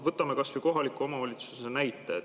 Võtame kas või kohaliku omavalitsuse näite.